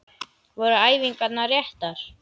Voru æfingarnar réttar?